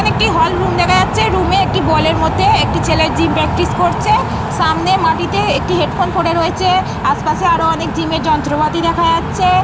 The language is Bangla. এইখানে একটি হল রুম দেখা যাচ্ছে। রুমে একটি বলের মধ্যে একটি ছেলে জিম প্রাকটিস করছে। সামনে মাটিতে একটি হেডফোন পড়ে রয়েছে। আশপাশে আরো অনেক জিমের যন্ত্রপাতি দেখা যাচ্ছে।